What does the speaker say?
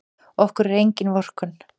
Okkur er engin vorkunn.